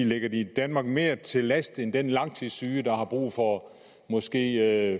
ligger de danmark mere til last end den langtidssyge der har brug for måske